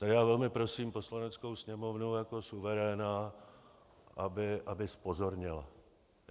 A já velmi prosím Poslaneckou sněmovnu jako suveréna, aby zpozorněla.